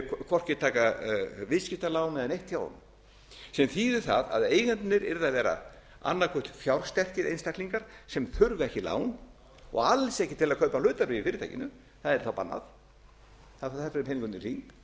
hvorki taka viðskiptalán eða neitt hjá honum sem þýðir það að eigendurnir yrðu að vera annað hvort fjársterkir einstaklingar sem þurfa ekki lán og alls ekki til að kaupa hlutabréf í fyrirtækinu það yrði þá bannað xxxx heyri ekki hvað háttvirtur segir